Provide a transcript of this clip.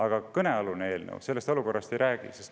Aga kõnealune eelnõu sellest olukorrast ei räägi.